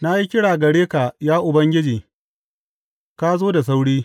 Na yi kira gare ka, ya Ubangiji; ka zo da sauri.